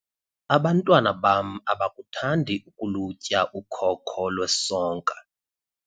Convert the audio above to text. abantwana bam abakuthandi ukulutya ukhoko lwesonka